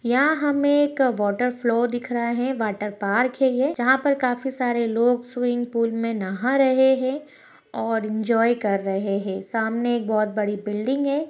यहाँ हमे एक वॉटर फ्लो दिख रहा है वॉटर पार्क है ये जहा पर काफी सारे लोग स्विमिंग पूल मे नहा रहे है और इंजोय कर रहे है सामने एक बहुत बड़ी बिल्डिंग है।